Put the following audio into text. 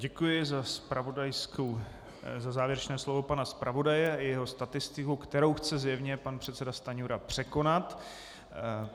Děkuji za závěrečné slovo pana zpravodaje i jeho statistiku, kterou chce zjevně pan předseda Stanjura překonat.